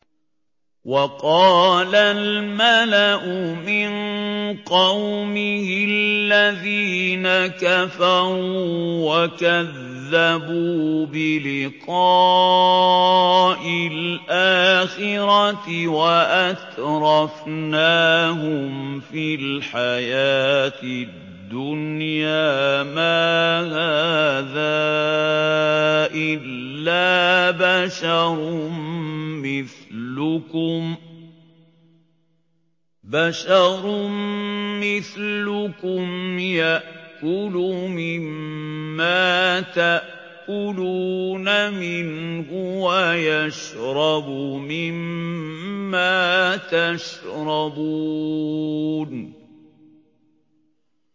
وَقَالَ الْمَلَأُ مِن قَوْمِهِ الَّذِينَ كَفَرُوا وَكَذَّبُوا بِلِقَاءِ الْآخِرَةِ وَأَتْرَفْنَاهُمْ فِي الْحَيَاةِ الدُّنْيَا مَا هَٰذَا إِلَّا بَشَرٌ مِّثْلُكُمْ يَأْكُلُ مِمَّا تَأْكُلُونَ مِنْهُ وَيَشْرَبُ مِمَّا تَشْرَبُونَ